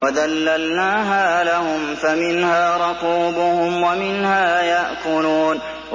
وَذَلَّلْنَاهَا لَهُمْ فَمِنْهَا رَكُوبُهُمْ وَمِنْهَا يَأْكُلُونَ